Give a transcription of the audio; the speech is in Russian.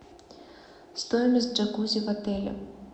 стоимость джакузи в отеле